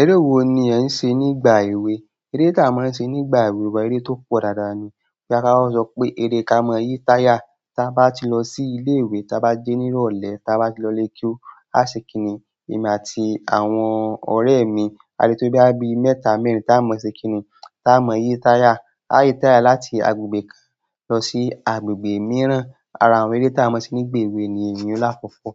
Eré wo ni ẹ̀ ń ṣe nígbà èwe? Eré tá a máa ń ṣe nígbà èwe wa, eré tó pọ̀ dáadáa ni. Bí à bá má sọ pé eré ká a máa ń yí táyà. Tá bá ti lọ sí ilé ìwé, tá bá dé ní ìrọ̀lẹ́, tá bá ti lọlé, keu a ṣe kíni. Èmi àti àwọn ọ̀rẹ́ mi, a lè tó bí àbí mẹ́ta mẹ́rin tá a mọ ṣe kíni, tá a mọ yí táyà. A yí táyà láti agbègbè kan lọ sí agbègbè mìíràn. Ara àwọn eré tá a máa ń ṣe nígbà èwe ni èyí ìyẹn lakokoọ́.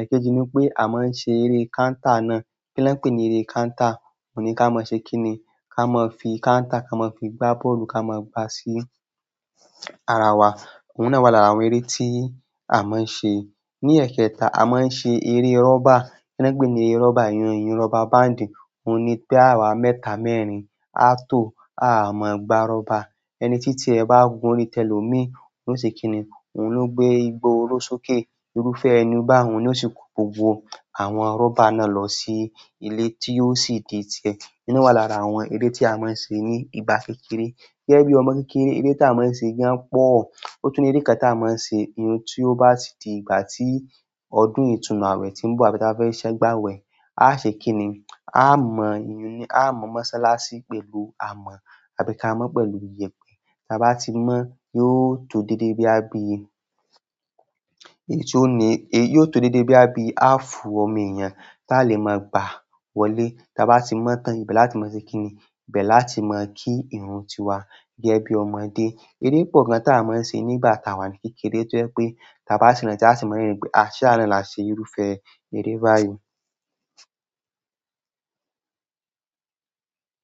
Ẹ̀kéjì ni pé à máa ń ṣe eré kántà náà. Kí lẹ́ ń pè ní eré kántà? Òun ni ká mọ ṣe kíni. Ka mọ fi kántà ka mọ fi gbá bọ́ọ̀lù ká mọ gbá sí ara wa. Òun náà wà lára àwọn eré tí à máa ń ṣe. Ní ẹ̀kẹta, à máa ń ṣe eré rọ́bà. Kí na ń pè ní eré rọ́bà? Ìyẹn ìyẹn rọ́bà báàndì. Òun ni pé àwa mẹ́ta mẹ́rin a tó, a máa gbá rọ́bà. Ẹni títí ẹ̀ bá gun, orí tẹlòmí. Yo ó ṣe kíni. Òun ló gbé igbó orósókè. Irúfẹ́ ẹni bá hun, yo ó sì kó gbogbo àwọn rọ́bà náà lọ sí ilé tí yóò sì di ti ẹ. E yun wà lára àwọn eré tí a máa ń ṣe ní ìgbà kékeré. Gẹ́gẹ́ bí ọmọ kékeré, eré tá a máa ń ṣe gan pọ̀. O tun ni èrè kàn tá mọ ṣe. Ìyẹn tí ó bá ti di ìgbà tí ọdún ìtúnu awẹ̀ tí ń bọ̀, ábí táa bá fẹ́ gba awẹ, a ṣe kíni. A mọ ìyẹn. A mọ mọ́sálásí pẹ̀lú, aamọ abika mọ́ pẹ̀lú iyẹ̀pẹ̀. Táa bá ti mọ́, yóò tó dédé boya bí i. Èyí tó ní, yóò tó dédé bí i bí i. Afuu ọmọ èèyàn táa lè máa gbà wọlé. Táa bá ti mọ́ tán, ìbẹ̀ láti mọ̀ ṣe kíni. Ìbẹ̀ láti mọ̀ kí irun ti wa. Gẹ́gẹ́ bí ọmọdé. Eré pọ̀ gan táa máa ń ṣe nígbà táa wà ní kékeré tí ó jẹ́ pé táa bá si rántí a ṣe mọ́ rérìn pé, a ṣẹ́ awa náà la ṣe irúfẹ́ eré báyìí.